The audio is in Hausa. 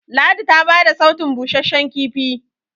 ladi ta bada sautun busasshen kifi